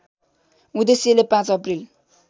उद्देश्यले ५ अप्रिल